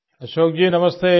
अशोक जी नमस्ते